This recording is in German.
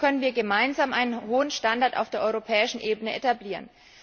So können wir gemeinsam einen hohen Standard auf europäischer Ebene etablieren.